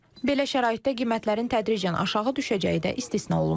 Belə şəraitdə qiymətlərin tədricən aşağı düşəcəyi də istisna olunmur.